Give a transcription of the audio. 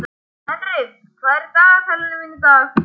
Henrik, hvað er í dagatalinu mínu í dag?